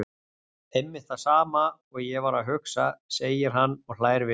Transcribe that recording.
Einmitt það sama og ég var að hugsa, segir hann og hlær við.